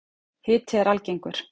Hiti er algengur.